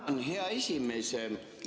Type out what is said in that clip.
Tänan, hea esimees!